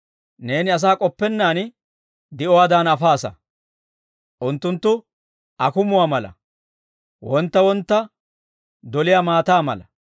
Neeni asaa k'oppennaan di'uwaadan afaasa. Unttunttu akumuwaa mala; wontta wontta doliyaa maataa mala.